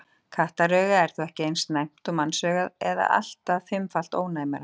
Kattaraugað er þó ekki eins næmt og mannsaugað eða allt að fimmfalt ónæmara.